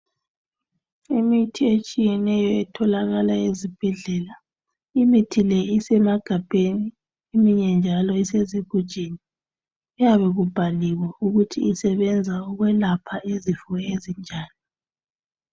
Imithi etshiyeneyo etholakala ezibhedlela. Imithi le isemagabheni eminye njalo isezigujini. Kuyabe kubhaliwe ukuthi isebenza ukwelapha izifo ezinjani.